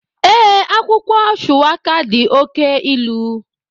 Ee, akwụkwọ shuwaka dị oke ilu